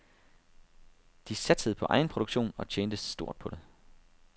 De satsede på egenproduktion og tjente stort på det.